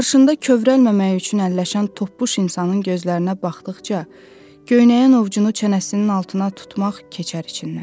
Qarşında kövrəlməmək üçün əlləşən topbuş insanın gözlərinə baxdıqca, göynəyən ovcunu çənəsinin altına tutmaq keçər içindən.